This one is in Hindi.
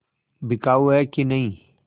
बिकाऊ है कि नहीं